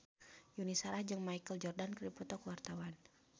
Yuni Shara jeung Michael Jordan keur dipoto ku wartawan